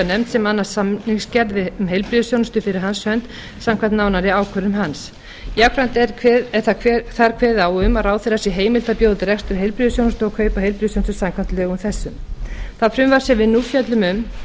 nefnd sem annast samningsgerð um heilbrigðisþjónustu fyrir hans hönd samkvæmt nánari ákvörðun hans jafnframt er þar kveðið á um að ráðherra sé heimilt að bjóða út rekstur heilbrigðisþjónustu og kaupa heilbrigðisþjónustu samkvæmt lögum þessum það frumvarp sem við nú fjöllum um